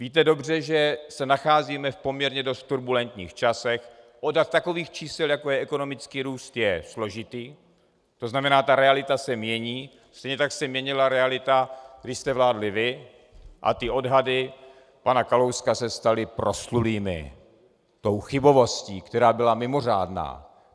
Víte dobře, že se nacházíme v poměrně dost turbulentních časech, odhad takových čísel, jako je ekonomický růst, je složitý, to znamená, ta realita se mění, stejně tak se měnila realita, když jste vládli vy, a ty odhady pana Kalouska se staly proslulými tou chybovostí, která byla mimořádná.